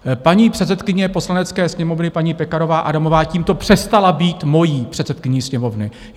Paní předsedkyně Poslanecké sněmovny, paní Pekarová Adamová, tímto přestala být mojí předsedkyní Sněmovny.